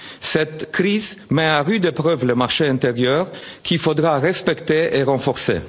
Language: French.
de demain. Cette crise met à rude épreuve le marché intérieur, qu'il faudra respecter et